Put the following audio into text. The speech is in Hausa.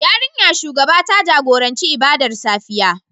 Yarinyar shugaba ta jagoranci ibadar safiya